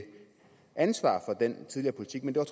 ansvar for den tidligere politik men det